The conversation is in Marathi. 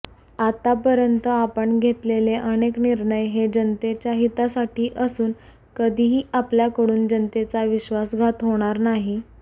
आतापर्यंत आपण घेतलेले अनेक निर्णय हे जनतेच्या हितासाठी असून कधीही आपल्याकडून जनतेचा विश्वासघात होणार नाही